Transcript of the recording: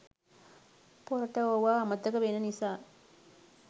පොරට ඕවා අමතක වෙන නිසා